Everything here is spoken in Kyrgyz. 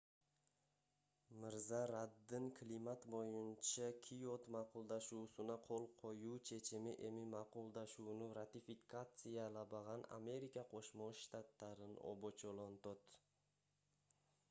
мырза раддын климат боюнча киот макулдашуусуна кол коюу чечими эми макулдашууну ратификациялабаган америка кошмо штаттарын обочолонтот